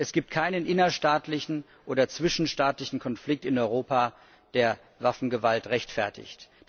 Es gibt keinen innerstaatlichen oder zwischenstaatlichen Konflikt in Europa, der Waffengewalt rechtfertigt.